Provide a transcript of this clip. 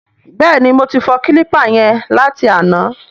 Bẹ́ẹ̀ni, mo ti fọ kílípà yẹn láti àná.